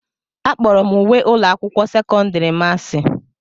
Akpọrọ m uwe ụlọ akwụkwọ sekọndiri m asị.